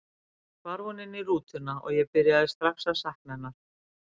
Svo hvarf hún inn í rútuna og ég byrjaði strax að sakna hennar.